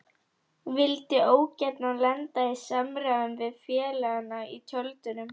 Vildi ógjarna lenda í samræðum við félagana í tjöldunum.